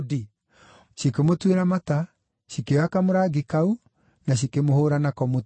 Cikĩmũtuĩra mata, cikĩoya kamũrangi kau, na cikĩmũhũũra nako mũtwe.